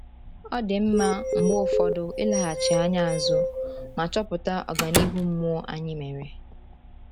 Ọ dị mma mgbe ụfọdụ ileghachi anya azụ ma chọpụta ọganihu mmụọ anyị mere.